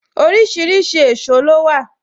Orísìírísìí èsó ló wà